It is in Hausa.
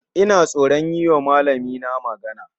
Ina tsoron yiwa malamina magana